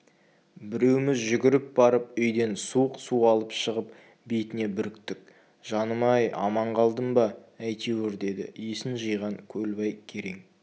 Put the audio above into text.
біреуміз жүгіріп барып үйден суық су алып шығып бетіне бүріктік жаным-ай аман қалдым ба әйтеуір деді есін жиған көлбай керең